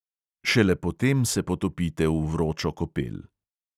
Šele potem se potopite v vročo kopel.